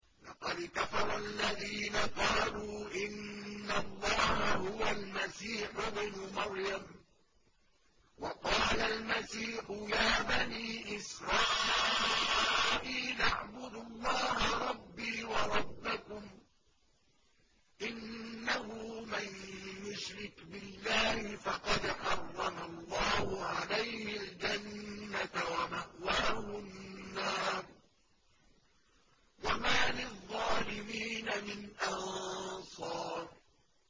لَقَدْ كَفَرَ الَّذِينَ قَالُوا إِنَّ اللَّهَ هُوَ الْمَسِيحُ ابْنُ مَرْيَمَ ۖ وَقَالَ الْمَسِيحُ يَا بَنِي إِسْرَائِيلَ اعْبُدُوا اللَّهَ رَبِّي وَرَبَّكُمْ ۖ إِنَّهُ مَن يُشْرِكْ بِاللَّهِ فَقَدْ حَرَّمَ اللَّهُ عَلَيْهِ الْجَنَّةَ وَمَأْوَاهُ النَّارُ ۖ وَمَا لِلظَّالِمِينَ مِنْ أَنصَارٍ